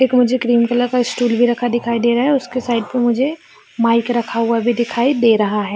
एक मुझे cream colour का एक स्टूल रखा भी हुआ दिखाई दे रहा है उसके साइड पर मुझे माइक रखा हुआ भी दिखाई दे रहा हैं।